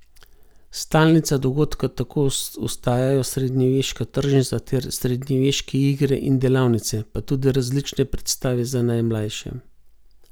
Stalnica dogodka tako ostajajo srednjeveška tržnica ter srednjeveške igre in delavnice, pa tudi različne predstave za najmlajše.